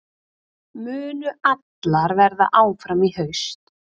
Munu allar verða áfram í haust?